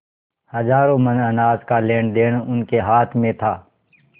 हजारों मन अनाज का लेनदेन उनके हाथ में था